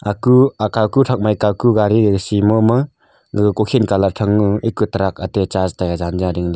aku aka ku thak ma kaku gaari si momo gaga ko khid colour thangnu aga truck .]